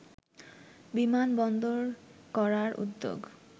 বিমানবন্দর করার উদ্যোগ